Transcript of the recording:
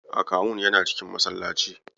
Akawun yana cikin masallaci.